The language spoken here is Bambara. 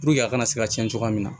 a kana se ka cɛn cogoya min na